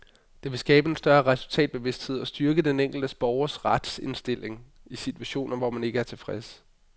Det vil skabe en større resultatbevidsthed og styrke den enkelte borgers retsstilling i situationer, hvor man ikke er tilfreds.